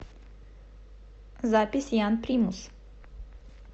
запись ян примус